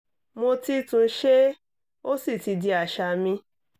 mo ti tún ṣe é ó sì ti di àṣà mi